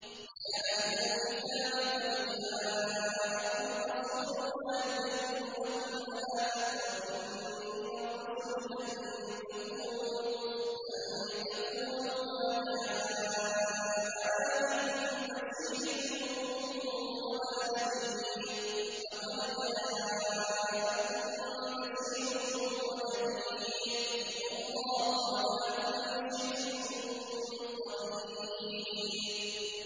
يَا أَهْلَ الْكِتَابِ قَدْ جَاءَكُمْ رَسُولُنَا يُبَيِّنُ لَكُمْ عَلَىٰ فَتْرَةٍ مِّنَ الرُّسُلِ أَن تَقُولُوا مَا جَاءَنَا مِن بَشِيرٍ وَلَا نَذِيرٍ ۖ فَقَدْ جَاءَكُم بَشِيرٌ وَنَذِيرٌ ۗ وَاللَّهُ عَلَىٰ كُلِّ شَيْءٍ قَدِيرٌ